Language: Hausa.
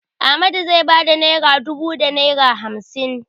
Ahmadu zai ba da naira dubu da naira hamsin.